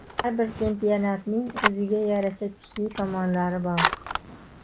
Har bir chempionatning o‘ziga yarasha kuchli tomonlari bor.